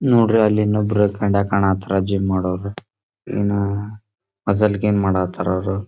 ನೋಡ್ರಿ ಅಲ್ಲಿ ಇನ್ನೊಬ್ರ ಕಂಡ್ಯಾಗ್ ಕಾಣಹತ್ತಾರ ಜಿಮ್ ಮಾಡೋರ ಯೇನ ಮಜಲ್ ಗಮ್ ಮಾಡ್ತಾರ ಅವ್ರ.